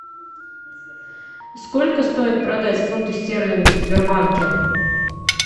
сколько стоит продать фунты стерлинги в сбербанке